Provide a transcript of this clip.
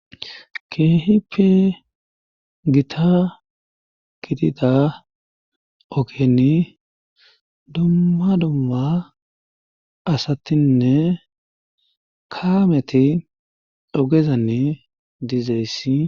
keehi pe gita gitida ogeni dumma dumma asatinne kaameti ogezanni dizeyssi